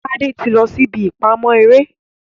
Tade tí lọ sí ìbí ìpamọ eré